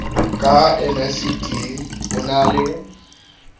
ka nicd ho na le